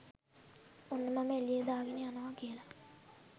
"ඔන්න මම එලියේ දාගන යනවා! " කියලා.